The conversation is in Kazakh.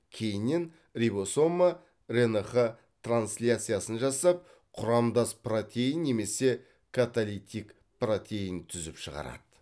кейіннен рибосома рнқ трансляциясын жасап құрамдас протеин немесе каталитик протеин түзіп шығарады